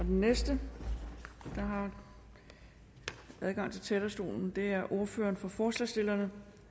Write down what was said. den næste der har adgang til talerstolen er ordføreren for forslagsstillerne